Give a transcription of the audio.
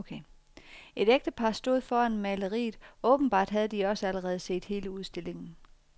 Et ægtepar stod foran maleriet, åbenbart havde også de allerede set hele udstillingen.